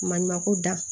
Maɲumanko dan